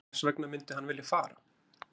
Hvers vegna myndi hann vilja fara?